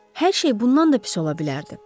Hər şey bundan da pis ola bilərdi.